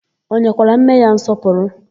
O nyekwara nne ya nsọpụrụ?